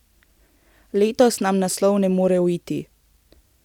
Letos nam naslov ne more uiti.